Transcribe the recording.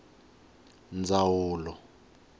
ndzawulo